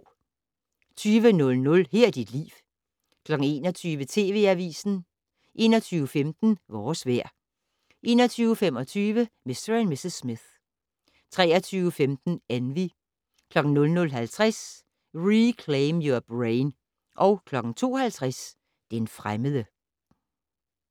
20:00: Her er dit liv 21:00: TV Avisen 21:15: Vores vejr 21:25: Mr. & Mrs. Smith 23:15: Envy 00:50: Reclaim Your Brain 02:50: Den fremmede